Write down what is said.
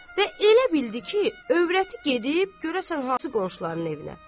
Və elə bildi ki, övrəti gedib görəsən hansı qonşuların evinə?